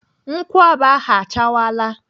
Nkwụaba ahụ achawala.